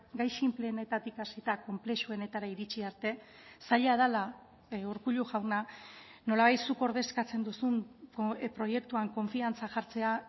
gai sinpleenetatik hasita konplexuenetara iritsi arte zaila dela urkullu jauna nolabait zuk ordezkatzen duzun proiektuan konfiantza jartzea